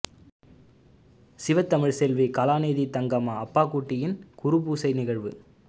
சிவத்தமிழ்ச் செல்வி கலாநிதி தங்கம்மா அப்பாக்குட்டியின் குருபூசை நிகழ்வு